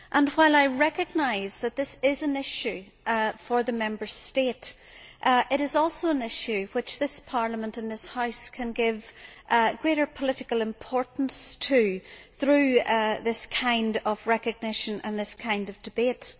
While I recognise that this is an issue for the Member States, it is also an issue to which this Parliament and this House can give greater political importance through this kind of recognition and this kind of debate.